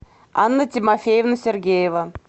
анна тимофеевна сергеева